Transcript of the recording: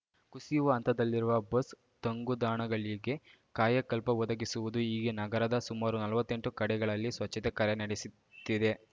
ಕುಸಿಯುವ ಹಂತದಲ್ಲಿರುವ ಬಸ್‌ ತಂಗುದಾಣಗಳಿಗೆ ಕಾಯಕಲ್ಪ ಒದಗಿಸುವುದು ಹೀಗೆ ನಗರದ ಸುಮಾರು ನಲ್ವತ್ತೆಂಟು ಕಡೆಗಳಲ್ಲಿ ಸ್ವಚ್ಛತೆ ಕಾರ್ಯ ನಡೆಸುತ್ತಿದೆ